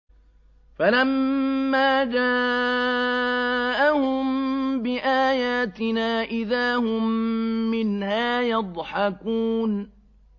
فَلَمَّا جَاءَهُم بِآيَاتِنَا إِذَا هُم مِّنْهَا يَضْحَكُونَ